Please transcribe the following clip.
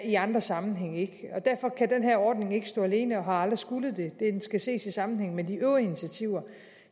i andre sammenhænge ikke derfor kan den her ordning ikke stå alene og har aldrig skullet det den skal ses i sammenhæng med de øvrige initiativer